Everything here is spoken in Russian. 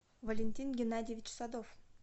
валентин геннадьевич садов